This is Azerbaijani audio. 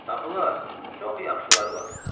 Tapılar, çox yaxşıları var.